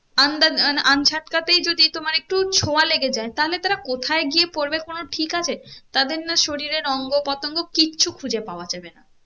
under যদি তোমার একটু ছোয়া লেগে যায় তাহলে তারা কোথায় গিয়ে পরবে কোনো ঠিক আছে? তাদের না শরীরের অঙ্গ পতঙ্গ কিছু খুঁজে পাওয়া যাবে না